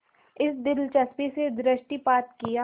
इस दिलचस्पी से दृष्टिपात किया